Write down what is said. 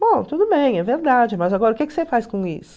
Bom, tudo bem, é verdade, mas agora o que que você faz com isso?